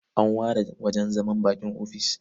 An ware wajen zaman baƙi a ofis.